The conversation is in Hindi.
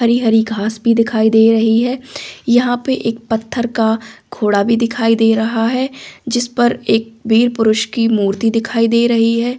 हरी हरी घास भी दिखाई दे रही है यहां पर एक पत्थर का घोड़ा भी दिखाई दे रहा है जिस पर एक वीर पुरुष की मूर्ति दिखाई दे रही है।